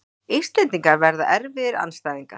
Íslendingar verða erfiðir andstæðingar